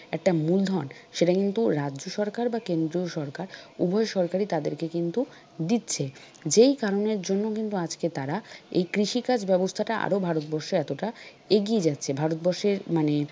একটা মূলধন সেটা কিন্তু রাজ্য সরকার বা কেন্দ্রীয় সরকার উভয় সরকারি তাদেরকে কিন্তু দিচ্ছে। যেই কারণের জন্য কিন্তু আজকে তারা এই কৃষিকাজ ব্যবস্থাটা আরো ভারতবর্ষে এতটা এগিয়ে যাচ্ছে ভারতবর্ষের মানে,